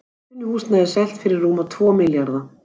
Atvinnuhúsnæði selt fyrir rúma tvo milljarða